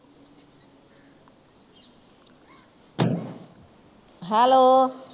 hello